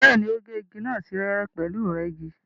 Bẹ́ẹ̀ni, ó gé igi náà sí wẹ́wẹ́ pẹ̀lú ìrẹ́gi.